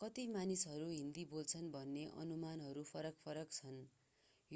कति मानिसहरू हिन्दी बोल्छन् भन्ने अनुमानहरू फरक-फरक छन्